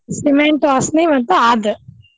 Cement ವಾಸ್ನಿ ಮತ್ ಆದ್.